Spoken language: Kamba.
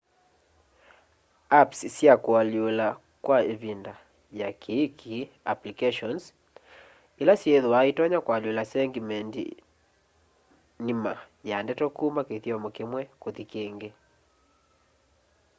apps sya kualyula kwa ivinda ya kiiki- applications ila syithwaa itonya kwalyula segmendi nima ya ndeto kuma kithyomo kimwe kuthi kíngí